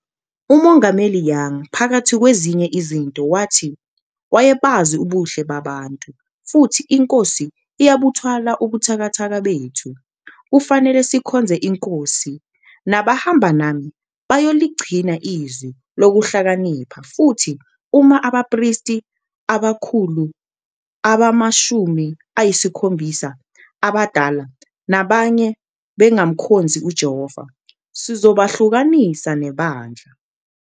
uMongameli Young phakathi kwezinye izinto wathi wayebazi ubuhle babantu, futhi iNkosi iyabuthwala ubuthakathaka bethu, kufanele sikhonze iNkosi, nabahamba nami bayoligcina iZwi lokuhlakanipha, futhi uma abaPristi abakhulu, abamaShumi ayisiKhombisa, aBadala, nabanye bengamkhonzi uJehova, sizobahlukanisa neBandla.